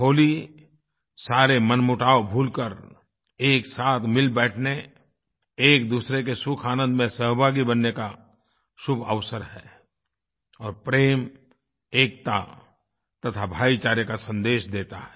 होली सारे मनमुटाव भूल कर एक साथ मिल बैठने एकदूसरे के सुखआनंद में सहभागी बनने का शुभ अवसर है और प्रेम एकता तथा भाईचारे का सन्देश देता है